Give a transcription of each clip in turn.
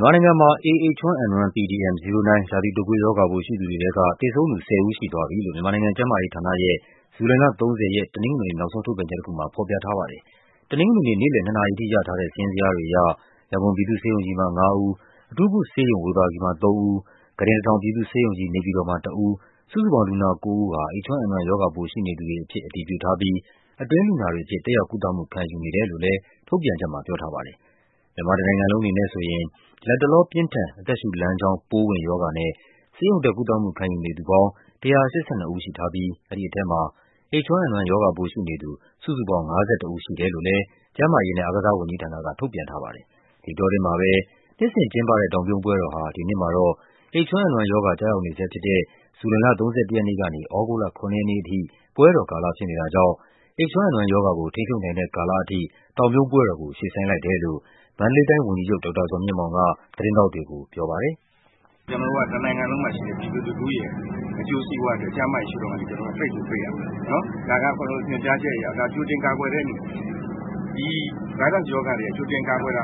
မြန်မာနိုင်ငံမှာ A pdm 09 ရာသီတုပ်ကွေးရောဂါပိုးရှိသူတွေထဲက သေဆုံးသူ ၁၀ ဦးရှိသွားပြီလို့ မြန်မာနိုင်ငံ ကျန်းမာရေး ဌာနရဲ့ ဇူုလိုင်လ ၃၀ ရက်၊ တနင်္ဂနွေနေ့ နောက်ဆုံးထုတ်ပြန်ချက်တခုမှာ ဖော်ပြထားပါတယ်။ တနင်္ဂနွေနေ့၊ နေ့လည် ၂ နာရီအထိ ရထားတဲ့ စာရင်းဇယားတွေအရ ရန်ကုန်ပြည်သူ့ဆေးရုံကြီးမှာ ၅ ဦး၊ အထူးကုဆေးရုံ ဝေဘာဂီမှာ ၃ ဦး၊ ခုတင် ၁၀၀၀ ပြည်သူ့ဆေးရုံကြီး နေပြည်တော်မှာ ၁ ဦး စုစုပေါင်း လူနာ ၉ ဦးဟာ H1N1 ရောဂါပိုးရှိနေသူတွေ အဖြစ် အတည်ပြုထားပြီး အတွင်းလူနာတွေအဖြစ် တက်ရောက်ကုသမှုခံယူနေတယ်လို့လဲ ထုတ်ပြန်ချက်မှာ ပြောထားပါတယ်။ မြန်မာတနိုင်ငံလုံးအနေနဲ့ဆိုရင် လတ်တလောပြင်းထန် အသက်ရှုလမ်းကြောင်း ပိုးဝင်ရောဂါနဲ့ ဆေးရုံတက်ကုသမှုခံယူနေသူ ပေါင်း ၁၈၂ ဦးရှိထားပြီး အဲဒီထဲမှာ H1N1 ရောဂါပိုးရှိနေသူ စုစုပေါင်း ၅၁ ဦးရှိတယ်လို့လဲ ကျန်းမာရေးနဲ့ အားကစားဝန်ကြီးဌာန က ထုတ်ပြန်ထားပါတယ်။ ဒီအတောအတွင်းမှာပဲ နှစ်စဉ်ကျင်းပတဲ့ တောင်ပြုံးပွဲတော်ဟာ ဒီနှစ်မှာတော့ H1N1 ရောဂါ ကျရောက်နေဆဲဖြစ်တဲ့ ဇူုလိုင်လ ၃၁ ရက်နေ့ကနေ သြဂုတ်လ ၇ ရက်နေ့အထိ ပွဲတော်ကာလဖြစ်နေတာကြောင့် H1N1 ရောဂါကို ထိန်းချုပ်နိုင်တဲ့ကာလအထိ တောင်ပြုံးပွဲတော်ကို ရွှေ့ဆိုင်းလိုက်တယ်လို့ မန္တလေးတိုင်းဝန်ကြီးချုပ် ဒေါက်တာဇော်မြင့်မောင်က သတင်းထောက်တွေကို ပြောပါတယ်။ "ကျနော်တို့က တနိုင်ငံလုံးမှာရှိတဲ့ ပြည်သူလူထုရဲ့ အကျိုးစီးပွားအတွက် ကျန်းမာရေးရှု့ထောင့်ကနေ ပိတ်ကိုပိတ်ရမယ်နော်။ ဒါက ညွန်ကြားချက်အရ ကြိုတင်ကာကွယ်တဲ့အနေနဲ့ ဒီ Virus ရောဂါတွေက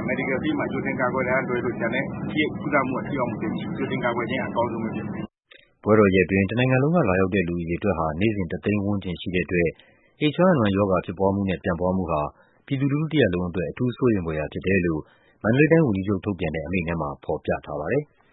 Medical field မှာ ကြိုတင်ကာကွယ်တာကလွဲလို့ ကုလမှုက ထိရောက်မှု သိပ်မရှိဘူး။ ကြိုတင်ကာကွယ်ခြင်းက အကောင်းဆုံးပဲဖြစ်တယ်။" ပွဲတော်ရက်အတွင်း တနိုင်ငံလုံးကလာရောက်တဲ့ လူအရေအတွက်ဟာ နေ့စဉ် ၁ သိန်းဝန်းကျင် ရှိတဲ့အတွက် H1N1 ရောဂါ ဖြစ်ပွားမှုနဲ့ ပြန့်ပွားမှုဟာ ပြည်သူလူထုတရပ်လုံးအတွက် အထူးစိုးရိမ်ဖွယ်ရာဖြစ်တယ်လို့ မန္တလေး တိုင်းဝန်ကြီးချုပ်ထုတ်ပြန်တဲ့ အမိန့်ထဲမှာ ဖော်ပြထားပါတယ်။